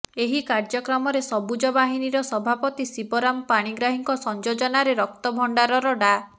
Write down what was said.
ଏହି କାର୍ଯ୍ୟକ୍ରମରେ ସବୁଜ ବାହିନୀ ର ସଭାପତି ଶିବରାମ ପାଣିଗ୍ରାହୀଙ୍କ ସଂଯୋଜନାରେ ରକ୍ତ ଭଣ୍ଡାର ର ଡା